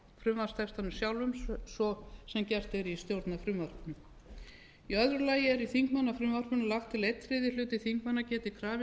frumvarpstextanum sjálfum svo sem gert er í stjórnarfrumvarpinu í öðru lagi er í þingmannafrumvarpinu lagt til að einn þriðji hluti þingmanna geti krafist þess með